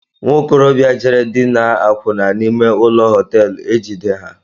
Nwokorobia jere dinaa akwụna n'ime ụlọ họteelu ejide ha.